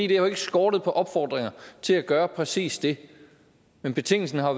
det har jo ikke skortet på opfordringer til at gøre præcis det men betingelsen har